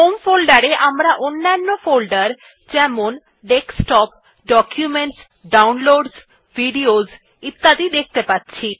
home folder এ আমরা অন্যান্য ফোল্ডার যেমন ডেস্কটপ ডকুমেন্টস ডাউনলোডসহ ভিডিওস ইত্যাদি দেখতে পাচ্ছি